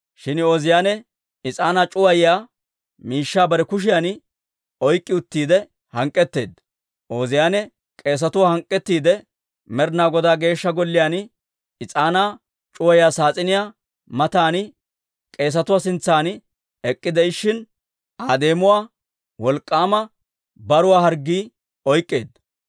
Shin Ooziyaane is'aanaa c'uwayanaw is'aanaa c'uwayiyaa miishshaa bare kushiyan oyk'k'i uttiide hank'k'etteedda. Ooziyaane k'eesetuwaa hank'k'ettiide, Med'inaa Godaa Geeshsha Golliyaan is'aanaa c'uwayiyaa saas'iniyaa matan k'eesatuwaa sintsan ek'k'ide'ishin, Aa deemuwaa wolk'k'aama baruwaa harggii oyk'k'eedda.